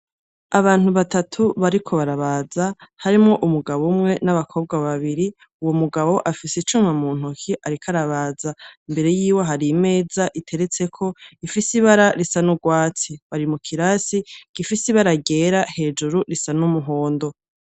Abantu batatu bariko barabaza harimwo umugabo umwe n’abakobwa babiri, uwo mugabo afise icuma mu ntoke ariko arabaza, imbere yiwe hari imeza iteretseko ifise ibara risa n’urwatsi, bari mu lkirasi gifise ibara ryera hejuru risa n’umuhondo.